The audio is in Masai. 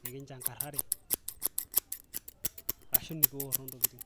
enekinjankarare ashuu mikioro intokitin.